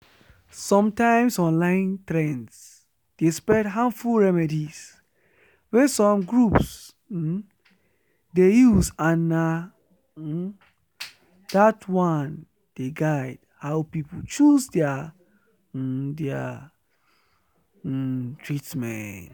sometimes online trends dey spread harmful remedies wey some groups um dey use and na um that one dey guide how people choose their um their um treatment